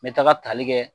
N bɛ taga tali kɛ